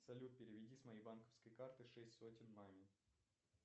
салют переведи с моей банковской карты шесть сотен маме